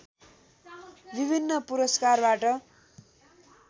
विभिन्न पुरस्कारबाट